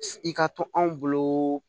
I ka to anw bolo